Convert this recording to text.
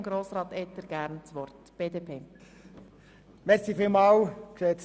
Somit kommen wir zur Fraktion BDP.